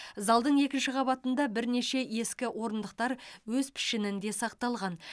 залдың екінші қабатында бірнеше ескі орындықтар өз пішінінде сақталған